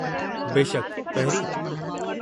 बेशकि, पहिरीं।